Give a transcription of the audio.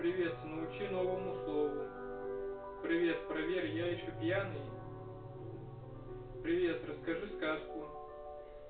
привет научи новому слову привет проверь я ещё пьяный привет расскажи сказку